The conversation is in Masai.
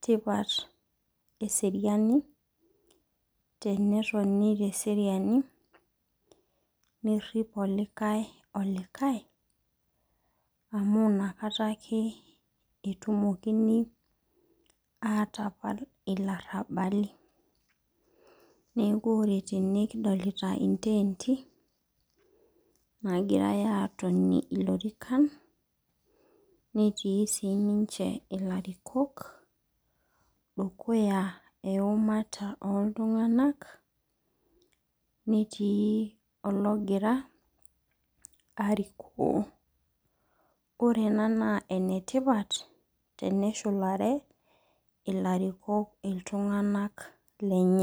tipat eseriani tenetoni teseriani nirip olikae olikae amu inakata ake etumokini atapal ilarabali. Neaku ore tene kidolita iteenti nagirae aatonie ilorikan netii sinche ilarikok dukuya eumata oo iltunganak netii ologira arikoo. Ore ena naa enetipat teneshulare ilarikok iltunganak lenye.